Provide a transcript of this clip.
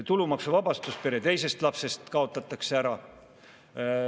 Tulumaksuvabastus pere teisest lapsest kaotatakse ära.